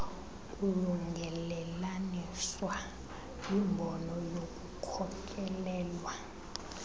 kulungelelaniswa yimbono yokukholelwa